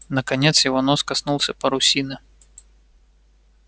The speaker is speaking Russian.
наконец его нос коснулся парусины